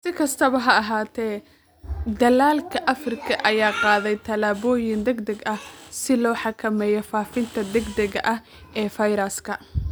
Si kastaba ha ahaatee, dalalka Afrika ayaa qaaday tallaabooyin degdeg ah si loo xakameeyo faafitaanka degdegga ah ee fayraska.